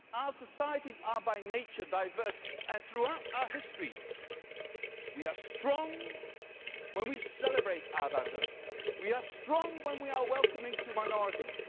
Our societies are by nature diverse, and throughout our history we have been strong when we celebrate our diversity we are strong when we are welcoming to minorities